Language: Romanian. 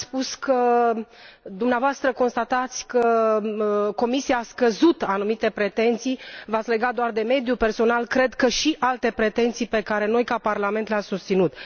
Ați spus că dumneavoastră constatați că Comisia Europeană a scăzut anumite pretenții, v ați legat doar de mediu personal, cred că și alte pretenții pe care noi, ca Parlament, le am susținut.